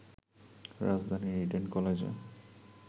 রাজধানীর ইডেন কলেজে